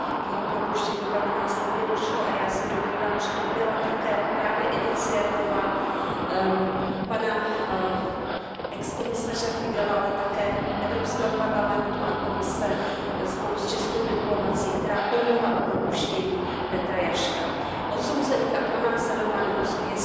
K jeho propuštění pak následně došlo a já se domnívám, že to byla také právě iniciativa pana bývalého komisaře Figeľa, ale také Evropského parlamentu a Komise spolu s českou diplomacií, která pomohla k propuštění Petra Jaška. Odsouzených a pronásledovaných osob